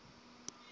eqonco